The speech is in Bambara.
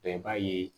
Bɛɛ b'a ye